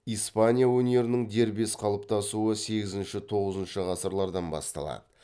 испания өнерінің дербес қалыптасуы сегізінші тоғызыншы ғасырлардан басталады